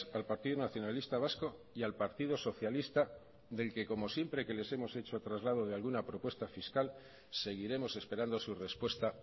al partido nacionalista vasco y al partido socialista del que como siempre que les hemos hecho traslado de alguna propuesta fiscal seguiremos esperando su respuesta